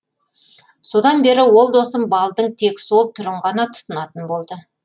содан бері ол досым балдың тек сол түрін ғана тұтынатын болды